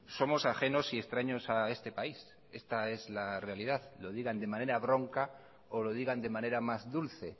somos ajenos y extraños a este país esta es la realidad lo digan de manera bronca o lo digan de manera más dulce